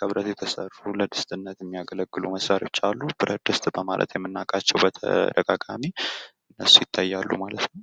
ከብረት የተሰሩ ለድስትነት የሚያገለግሉ መሳሪያዎች አሉ። ብረት ድስት በማለት የምናውቃቸው በተደጋጋሚ እነሱ ይታያሉ ማለት ነው።